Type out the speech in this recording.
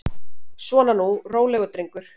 Svona nú, rólegur drengur.